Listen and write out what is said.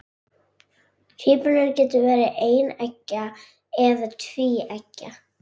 tvíburar geta verið eineggja eða tvíeggja